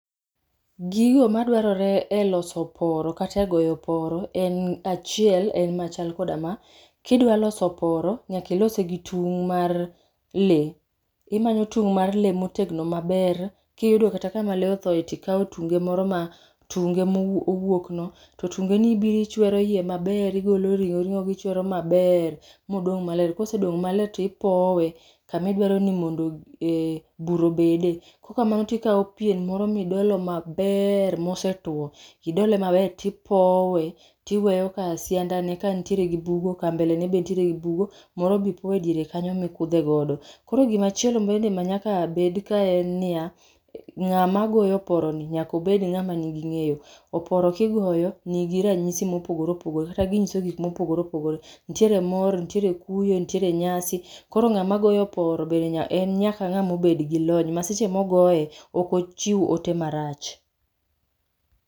Gigo madware e oloso oporo kata e goyo oporo en machal achiel en machal koda ma. Kidwa loso oporo nyaka ilose gi tung mar lee, imanyo tung mar lee motegno maber kiyudo kata kama lee otho tikao tunge moro ma, tunge mowuok no to tunge ibiro ichwero iye maber, igolo ringo go ichwero maber modong maler. Kosedong maler tipowe kama idwaro ni bur obede, kaok kamano tikao pien moro midolo maber mosetuo, idole maber tipowe tiweyo ka siandani nitiere gi bugo, mbele ne be nitie gi bugo moro be ipoe e diere kanyo mikudhe godo. Koro gimachielo be manyaka bed kae en niya, ngama goyo oporoni oned ngama nigi ngeyo, oporo kigoyo nigi ranyisi mopogor eopogore ka ginyiso gik mopogore opogore. Nitiere mor, nitiere kuyo, nitiere nyasi koro ngama goyo oporo en nyaka obed gi lony ma seche mogoye ok ochiw ote marach